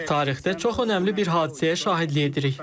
Tarixdə çox önəmli bir hadisəyə şahidlik edirik.